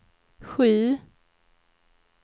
sju